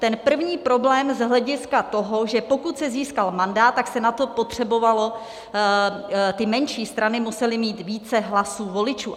Ten první problém z hlediska toho, že pokud se získal mandát, tak se na to potřebovalo, ty menší strany musely mít více hlasů voličů.